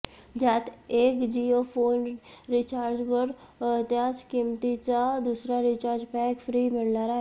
ज्यात एक Jio phone रिचार्जवर त्याच किंमतीचा दुसरा रिचार्ज पॅक फ्री मिळणार आहे